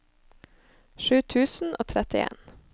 sju tusen og trettien